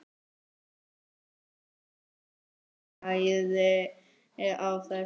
Hvernig stæði á þessu?